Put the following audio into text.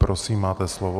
Prosím, máte slovo.